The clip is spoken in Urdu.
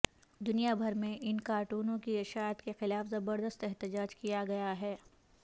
دنیا بھر میں ان کارٹونوں کی اشاعت کے خلاف زبردست احتجاج کیا گیا ہے